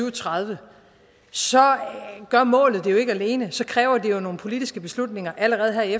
og tredive så gør målet det jo ikke alene så kræver det nogle politiske beslutninger allerede her i